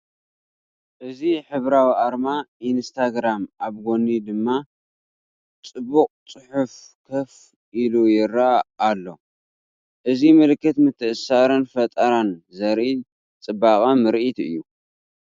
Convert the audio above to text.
እዚ ሕብራዊ ኣርማ ኢንስታግራም ኣብ ጎኒ ድማ ጽቡቕ ጽሑፍ ኮፍ ኢሉ ይረአ ኣሎ። እዚ ምልክት ምትእስሳርን ፈጠራን ዘርኢ ፅበቅ ምርኢት እዩ።